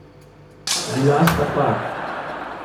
Bila sta par.